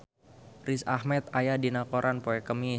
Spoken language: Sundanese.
Riz Ahmed aya dina koran poe Kemis